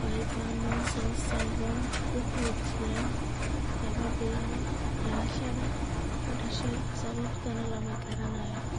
Wyburn Mason's syndrome wuxuu jiraa laga bilaabo dhalashada (ku dhashay) sababtana lama garanayo.